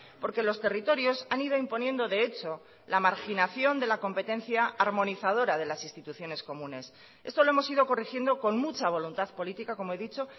porque los territorios han ido imponiendo de hecho la marginación de la competencia armonizadora de las instituciones comunes esto lo hemos ido corrigiendo con mucha voluntad política como he dicho